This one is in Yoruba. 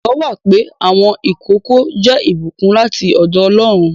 Ìgbàgbọ́ wà pé àwọn ìkókó jẹ́ ìbùkún láti ọ̀dọ̀ Ọlọ́run.